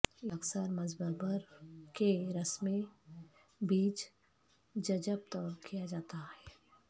یہ اکثر مسببر کے رس میں بیج ججب طور کیا جاتا ہے